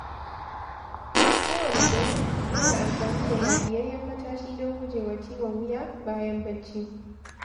Kowanne dare, yana amfani da lafiyayyen matashi don gujewa ciwon wuya bayan barci.